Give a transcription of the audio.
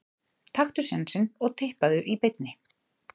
Taktu sénsinn og Tippaðu í beinni.